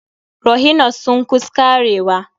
Rhino's sun kus karewa.